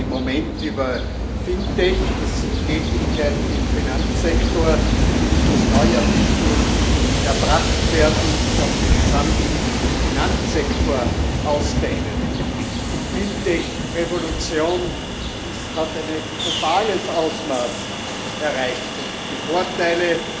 Wir reden im Moment über FinTech, das sind Tätigkeiten im Finanzsektor, die mittels neuer Technologie erbracht werden und sich auf den gesamten Finanzsektor ausdehnen. Die FinTech Revolution hat ein globales Ausmaß erreicht, und die Vorteile